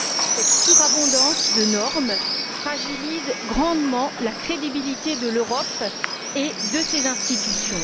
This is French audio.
Cette surabondance de normes fragilise grandement la crédibilité de l'Europe et de ses institutions.